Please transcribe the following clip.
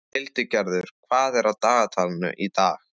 Hildigerður, hvað er á dagatalinu í dag?